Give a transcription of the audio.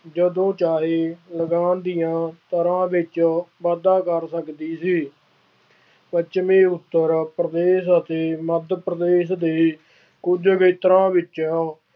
ਜਦੋਂ ਚਾਹੇ ਲਗਾਨ ਦੀਆਂ ਦਰਾਂ ਵਿੱਚ ਵਾਧਾ ਕਰ ਸਕਦੀ ਸੀ। ਪੱਛਮੀ ਉੱਤਰ ਪ੍ਰਦੇਸ਼ ਅਤੇ ਮੱਦ ਪ੍ਰਦੇਸ਼ ਦੇ ਕੁੱਝ ਖੇਤਰਾਂ ਵਿੱਚ